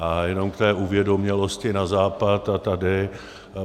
A jenom k té uvědomělosti na západ a tady.